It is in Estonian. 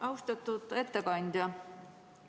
Austatud ettekandja!